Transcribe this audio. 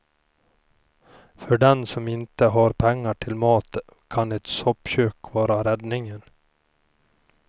För den som inte har pengar till mat kan ett soppkök vara räddningen.